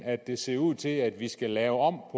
at det ser ud til at vi skal lave om